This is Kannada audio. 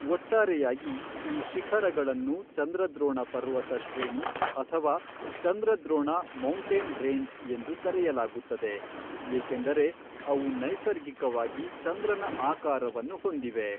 ಒಟ್ಟಾರೆಯಾಗಿ, ಈ ಶಿಖರಗಳನ್ನು ಚಂದ್ರದ್ರೋಣ ಪರ್ವತ ಶ್ರೇಣಿ ಅಥವಾ ಚಂದ್ರದ್ರೋಣ ಮೌಂಟೇನ್ ರೇಂಜ್ ಎಂದು ಕರೆಯಲಾಗುತ್ತದೆ, ಏಕೆಂದರೆ ಅವು ನೈಸರ್ಗಿಕವಾಗಿ ಚಂದ್ರನ ಆಕಾರವನ್ನು ಹೊಂದಿವೆ.